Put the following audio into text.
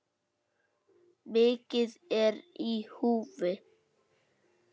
Mikið er í húfi.